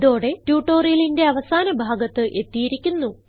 ഇതോടെ ട്യൂട്ടോറിയലിന്റെ അവസാന ഭാഗത്ത് എത്തിയിരിക്കുന്നു